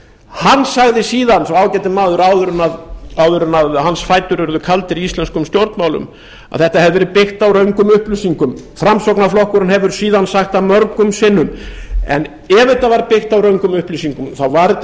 hann sagði síðan sá ágæti maður áður en hans fætur urðu kaldir í íslenskum stjórnmálum að þetta hefði verið byggt á röngum upplýsingum framsóknarflokkurinn hefur síðan sagt það mörgum sinnum en ef þetta var byggt á röngum upplýsingum þá var þetta